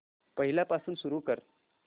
पहिल्यापासून सुरू कर